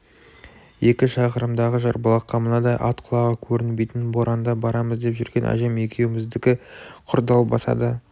екі шақырымдағы жарбұлаққа мынадай ат құлағы көрінбейтін боранда барамыз деп жүрген әжем екеуміздікі құр далбаса да